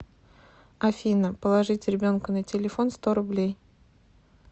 афина положить ребенку на телефон сто рублей